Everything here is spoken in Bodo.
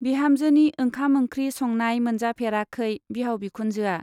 बिहामजोनि ओंखाम-ओंख्रि संनाय मोनजाफेराखै बिहाव बिखुनजोआ।